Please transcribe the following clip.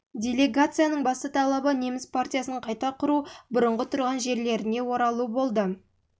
делегацияның басты талабы неміс мен партиясын қайта құру бұрынғы тұрған жерлеріне оралу жылы тамыз жылғы қараша жылғы желтоқсандағы